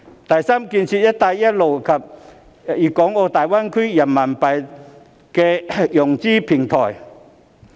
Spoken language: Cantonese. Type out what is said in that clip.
第三，建設"一帶一路"及大灣區人民幣投融資平台。